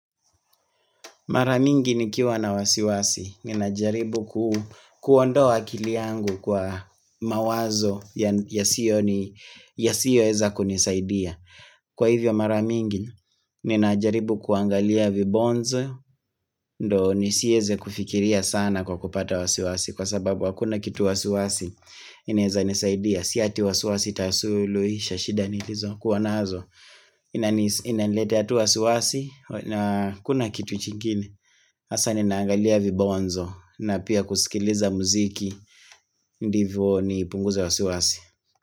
Mara mingi nikiwa na wasiwasi, ninajaribu kuondowa akili yangu kwa mawazo yasiyoweza kunisaidia. Kwa hivyo mara mingi, ninajaribu kuangalia vibonze, ndio nisiweze kufikiria sana kwa kupata wasiwasi, kwa sababu hakuna kitu wasiwasi inaeza nisaidia. Si eti wasiwasi itasuluhisha shida nilizo, kuwa nazo. Inaniletea tu wasiwasi na hakuna kitu kingine Hasa ninaangalia vibonzo na pia kusikiliza muziki Ndivyo nipunguze wasiwasi.